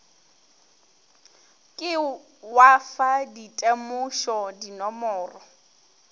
ke wa fa ditemošo dinomoro